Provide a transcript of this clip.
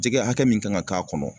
Jɛgɛ hakɛ min kan ka k'a kɔnɔ